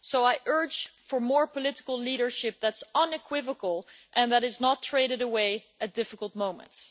So I urge for more political leadership that is unequivocal and that is not traded away at difficult moments.